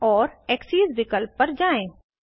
और एक्सेस विकल्प तक जाएँ